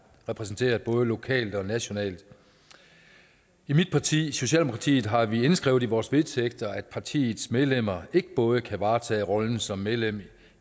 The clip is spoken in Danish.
repræsenterer både lokalt og nationalt i mit parti socialdemokratiet har vi indskrevet i vores vedtægter at partiets medlemmer ikke både kan varetage rollen som medlem